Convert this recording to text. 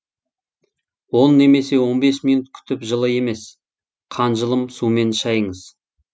он немесе он бес минут күтіп жылы емес қанжылым сумен шайыңыз